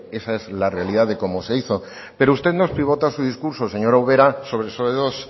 que esa es la realidad de cómo se hizo pero usted nos pivota su discurso señora ubera